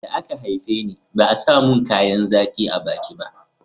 da a ka haife ni ba a samun kayan zaƙi a baki ba